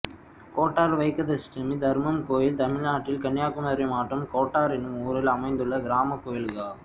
கோட்டார் வைக்கத்தஷ்டமி தர்மம் கோயில் தமிழ்நாட்டில் கன்னியாகுமரி மாவட்டம் கோட்டார் என்னும் ஊரில் அமைந்துள்ள கிராமக் கோயிலாகும்